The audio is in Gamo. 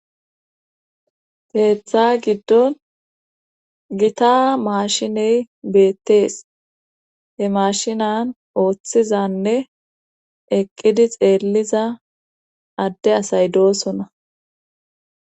Keeththa giddon gita maashiney beettees he mashinan ooththizanne eqqidi xeelliza adde asay doosona